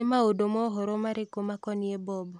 Nĩ maũndũ mohoro marĩkũ makonĩĩ Bob